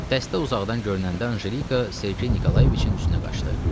Dəstə uzaqdan görünəndə Anjelika Sergey Nikolayeviçin üstünə qaçdı.